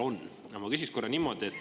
Aga ma küsin korra niimoodi.